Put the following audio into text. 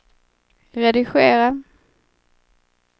redigera